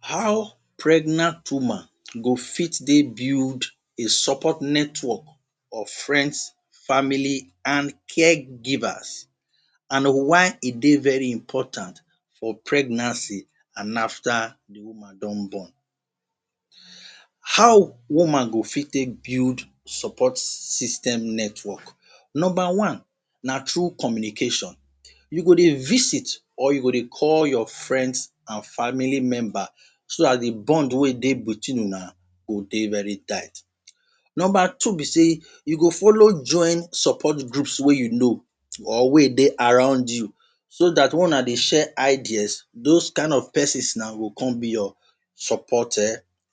How pregnant woman go fit dey build a support network of friends family and caregivers and why e dey very important for pregnancy and afta di woman don born. How woman go fit take build support system network. Number one na through communication, you go dey visit or you go dey call your friends and family members so dat di bond wey dey between una go dey very tight. Number two be say you go follow join support groups wey you know or wey dey around you so that una go share ideas those kind of pesins na go come be your support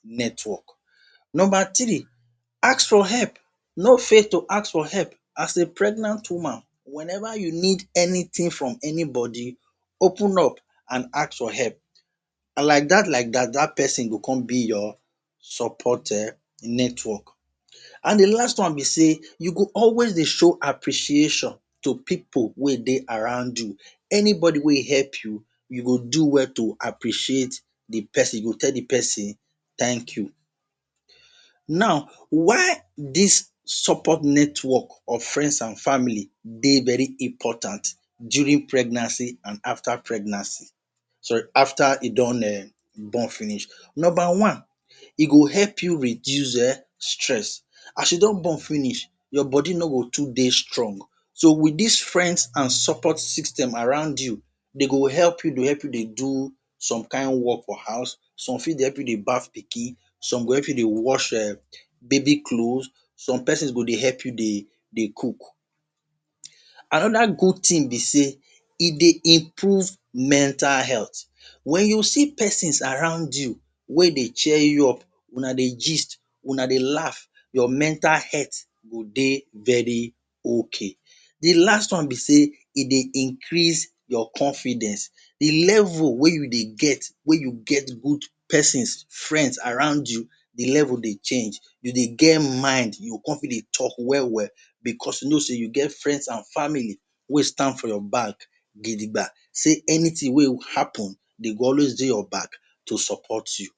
network. Number three, ask for help no fear to ask for help as a pregnant woman wen eva you need anytin from anybody open up and ask for help like dat like dat, dat pesin go come be your support network. And di last one be say you go always dey show appreciation to pipo wey dey around you anybody wey help you, you go do well to appreciate di pesin you go teh di pesin thank you. Now, why dis support network of friends and families dey very important during pregnancy and afta pregnancy, sorry, afta e don born finish. Number one, e go help you reduce stress as you don born finish your body no go too dey strong so wit dis friends and support system around you dey go help you, dey help you dey do some kain wok for house, some fit dey help you dey baff pikin, some go help you dey wash baby clothes, some pesins go dey help you dey cook. Anoda good tin be say e dey improve mental health. Wen you see pesin around you wey dey cheer you up una dey gist, una dey laff. Your mental health go dey very ok. Di last one be say e dey increase your confidence di level wey you dey get wey you get good pesins, friends around you di level dey change you dey get mind you go come fit dey tok wel wel bicos you know say you get friends and family wey stand for your back gidigba, say anytin wey happun dey go always dey your back to support you.